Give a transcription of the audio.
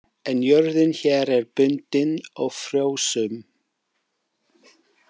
En jörðin hér er bundin og frjósöm.